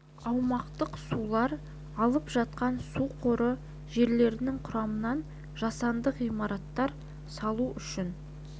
аумақтық сулар алып жатқан су қоры жерлерінің құрамынан жасанды ғимараттар салу үшін